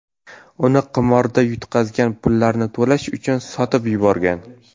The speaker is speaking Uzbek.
Uni qimorda yutqazgan pullarni to‘lash uchun sotib yuborgan.